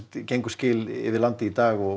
gengu skil yfir landið í dag og